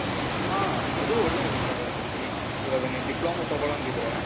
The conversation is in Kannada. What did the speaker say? ಆ, ಅದೂ ಒಳ್ಳೇ ಅಭಿಪ್ರಾಯ ಪ್ರಿಥ್ವಿ. ಇವಾಗ ನೀನ್ ಡಿಪ್ಲೋಮಾ ತೊಗೊಳಂಗ್ ಇದ್ರೆ,